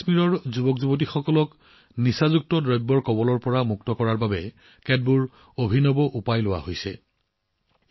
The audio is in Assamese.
জম্মুকাশ্মীৰৰ যুৱকযুৱতীসকলক ড্ৰাগছৰ পৰা বচাবলৈ বহু অভিনৱ প্ৰচেষ্টা দেখা গৈছে